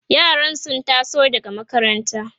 yaran sun taso daga makaranta